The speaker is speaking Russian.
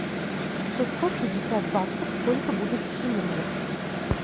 шестьсот пятьдесят баксов сколько будет в шиллингах